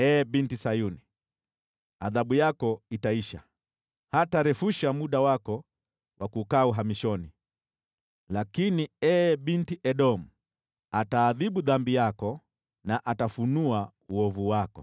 Ee Binti Sayuni, adhabu yako itaisha, hatarefusha muda wako wa kukaa uhamishoni. Lakini, ee Binti Edomu, ataadhibu dhambi yako, na atafunua uovu wako.